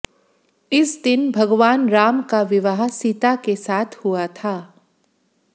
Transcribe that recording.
इस दिन भगवान राम का विवाह सीता के साथ हुआ था